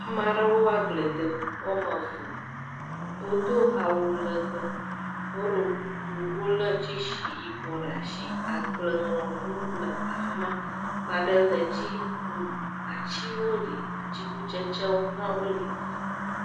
Amaɖewo agble dem, ɔme eve, o do awu legbee, o ɖo kuku, o lé tseshi yibɔ ɖe ashi, agble ŋlɔ ʋu le afima, maɖe le dzi, atsiwo li, atsikutsetse wo hã wo li.